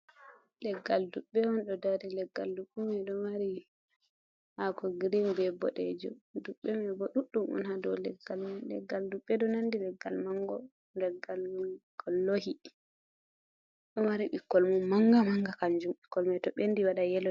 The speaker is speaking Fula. Leggal duɓɓe on, ɗo dari leggal duɓɓemai ɗo mari haako girin be ɓoɗejum, duɓɓe mai bo ɗuɗɗum on ha dow leggal man, leggal duɓɓe ɗo nandi leggal mango leggal gollohi, ɗo mari ɓikkoi mum manga manga kanjum, ɓikkon mai to ɓendi waɗan yelo.